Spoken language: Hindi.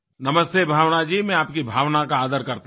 नमस्ते भावना जी मैं आपकी भावना का आदर करता हूँ